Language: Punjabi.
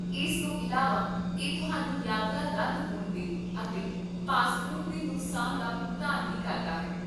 ਇਸ ਤੋਂ ਇਲਾਵਾ, ਇਹ ਤੁਹਾਨੂੰ ਯਾਤਰਾ ਰੱਦ ਹੋਣ ਤੇ ਅਤੇ ਪਾਸਪੋਰਟ ਦੇ ਨੁਕਸਾਨ ਦਾ ਭੁਗਤਾਨ ਵੀ ਕਰਦਾ ਹੈ